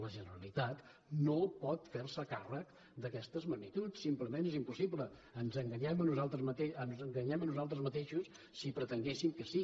la generalitat no pot fer se càrrec d’aquestes magnituds simplement és impossible ens enganyem a nosaltres mateixos si pretenguessin que sí